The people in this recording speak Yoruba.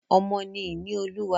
Ọmọ ni ìní Olúwa.